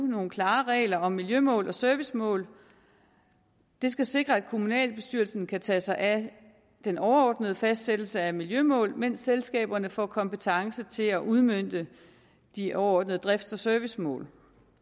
nogle klare regler om miljømål og servicemål det skal sikre at kommunalbestyrelsen kan tage sig af den overordnede fastsættelse af miljømål mens selskaberne får kompetence til at udmønte de overordnede drifts og servicemål